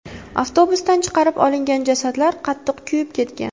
Avtobusdan chiqarib olingan jasadlar qattiq kuyib ketgan.